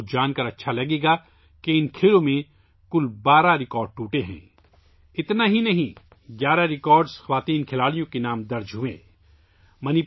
آپ کو یہ جان کر خوشی ہوگی کہ ان گیمز میں کل 12 ریکارڈ ٹوٹ چکے ہیں اتنا ہی نہیں، خواتین کھلاڑیوں کے نام 11 ریکارڈز درج ہوچکے ہیں